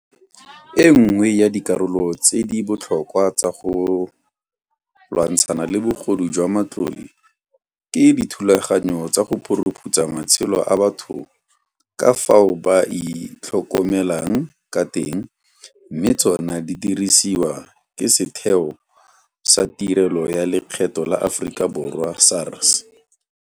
E nngwe ya dikarolo tse di botlhokwa tsa go lwantshana le bogodu jwa matlole ke dithulaganyo tsa go phuruphutsa matshelo a batho ka fao ba itlhokomelang ka teng mme tsona di diriswa ke Setheo sa Tirelo ya Lekgetho la Aforika Borwa SARS.